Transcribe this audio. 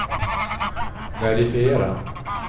verifiera